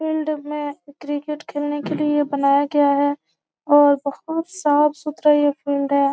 Field में cricket खेलने के लिए बनाया गया है और बहुत साफ सुथरा ये फील्ड है।